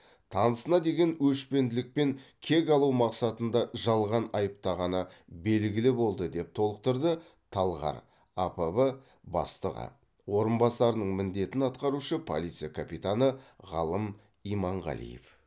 танысына деген өшпенділікпен кек алу мақсатында жалған айыптағаны белгілі болды деп толықтырды талғар апб бастығы орынбасарының міндетін атқарушы полиция капитаны ғалым иманғалиев